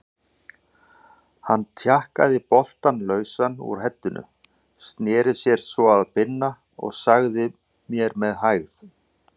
Hann tjakkaði boltann lausan úr heddinu, sneri sér svo að Binna og sagði með hægð